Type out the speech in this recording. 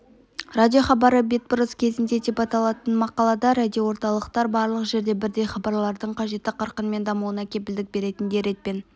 радиохабары бетбұрыс кезінде деп аталатын мақалада радиоорталықтар барлық жерде бірдей хабарлардың қажетті қарқынмен дамуына кепілдік беретіндей ретпен